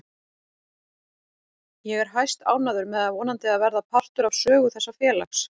Ég er hæstánægður með að vonandi að verða partur af sögu þessa félags.